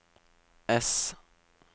S